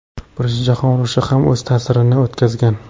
Birinchi jahon urushi ham o‘z ta’sirini o‘tkazgan.